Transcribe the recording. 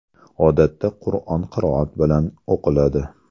Odatda, Qur’on qiroat bilan o‘qiladi.